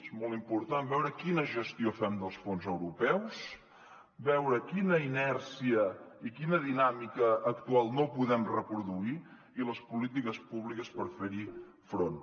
és molt important veure quina gestió fem dels fons europeus veure quina inèrcia i quina dinàmica actual no podem reproduir i les polítiques públiques per fer hi front